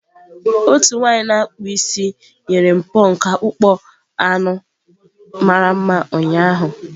Otu nwanyị na akpụ isi nyere m pọnk akpụkpọ anụ mara mma ụnyaahụ.